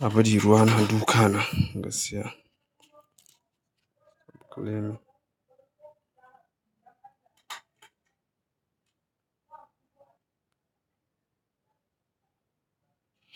Abiji ruwa na duka na, gaskiya.